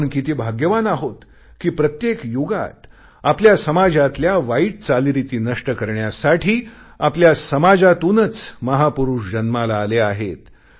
आपण किती भाग्यवान आहोत कि प्रत्येक युगात आपल्या समाजातल्या वाईट चालीरीती नष्ट करण्यासाठी आपल्या समाजातूनच महापुरुष जन्माला आले आहेत